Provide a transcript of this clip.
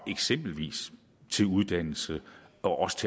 eksempelvis til uddannelse og også